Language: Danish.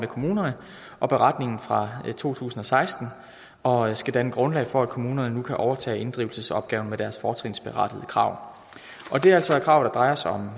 kommunerne og beretningen fra to tusind og seksten og skal danne grundlag for at kommunerne nu kan overtage inddrivelsesopgaven med deres fortrinsberettigede krav det er altså krav der drejer sig om